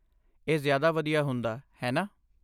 ਇਹ ਜ਼ਿਆਦਾ ਵਧੀਆ ਹੁੰਦਾ, ਹੈ ਨਾ।